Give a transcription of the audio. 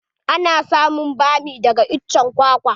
Ana samun bami daga iccen kwakwa.